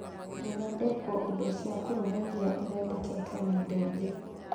Gũthondekwo indo cia kũruga iria ithondeketwo na indo ingĩ